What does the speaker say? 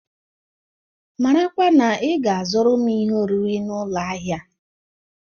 Marakwa na ị ga azụrụm ihe oriri na ụlọ ahịa